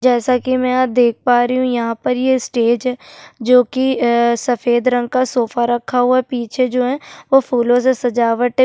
जैसा की मै यहाँ देख पा रही हू यहाँ पर ये स्टेज है जो की ए-ए सफ़ेद रंग का सोफा रखा हुआ है पीछे जो है वो फूलो से सजावटे --